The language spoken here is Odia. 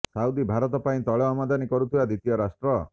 ସାଉଦି ଭାରତ ପାଇଁ ତୈଳ ଆମଦାନୀ କରୁଥିବା ଦ୍ୱିତୀୟ ରାଷ୍ଟ୍ର